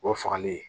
O fagalen ye